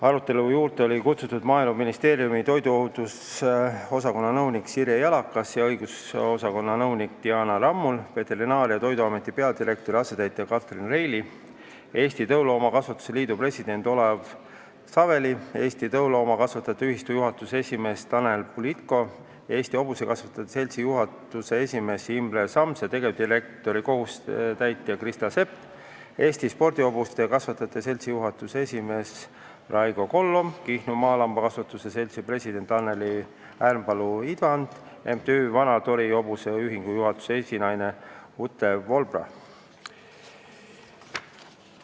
Arutelule oli kutsutud ka Maaeluministeeriumi toiduohutuse osakonna nõunik Sirje Jalakas ja õigusosakonna nõunik Diana Rammul, Veterinaar- ja Toiduameti peadirektori asetäitja Katrin Reili, Eesti Tõuloomakasvatuse Liidu president Olev Saveli, Eesti Tõuloomakasvatajate Ühistu juhatuse esimees Tanel Bulitko, Eesti Hobusekasvatuse Seltsi juhatuse esimees Imre Sams ja tegevdirektori kohusetäitja Krista Sepp, Eesti Sporthobuste Kasvatajate Seltsi juhatuse esimees Raigo Kollom, Kihnu Maalambakasvatuse Seltsi president Anneli Ärmpalu-Idvand, MTÜ Vana-Tori Hobuse Ühingu juhatuse esinaine Ute Wohlrab.